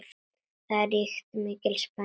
Það ríkti mikil spenna.